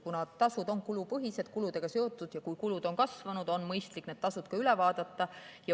Kuna tasud on kulupõhised, kuludega seotud, siis kui kulud on kasvanud, on mõistlik need tasud üle vaadata.